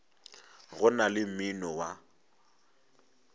go na le mmino wa